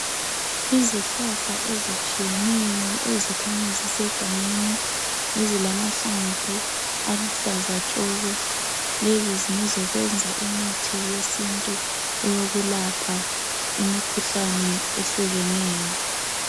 Izihlahla ezitshiyeneyo ezikhanya zisegangeni ezilamahlamvu aluhlaza tshoko. Lezi ngezokwenza imithi yesintu eyokulapha imikhuhlane ehlukeneyo.